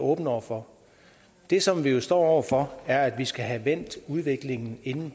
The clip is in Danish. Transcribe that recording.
åbne over for det som vi jo står over for er at vi skal have vendt udviklingen inden